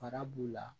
Fara b'u la